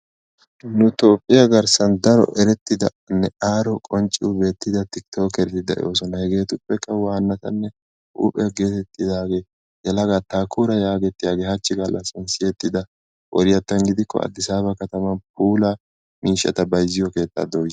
Nu toophiyaa garssan erettidanne aaro qonccida tiktokereti de'oosona hegee wannatanne huuphe geetettidaageeti yelagaa Taakuura yagetettiyaagee hachi gallasan Addisaba kataman puula miishshata bayizziyo keettata dooyiis.